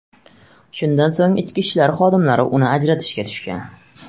Shundan so‘ng ichki ishlar xodimlari uni ajratishga tushgan.